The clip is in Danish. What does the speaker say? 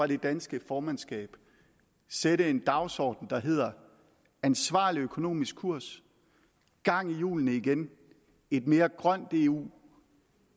det danske formandskab sætte en dagsorden der hedder ansvarlig økonomisk kurs gang i hjulene igen et mere grønt eu